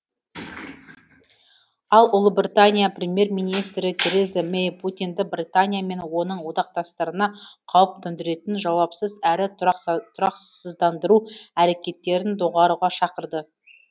ал ұлыбритания премьер министрі тереза мэй путинді британия мен оның одақтастарына қауіп төндіретін жауапсыз әрі тұрақсыздандыру әрекеттерін доғаруға шақырды